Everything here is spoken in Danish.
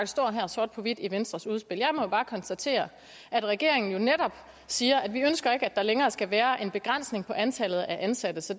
står her sort på hvidt i venstres udspil jeg må bare konstatere at regeringen jo netop siger at vi ikke ønsker at der længere skal være en begrænsning på antallet af ansatte så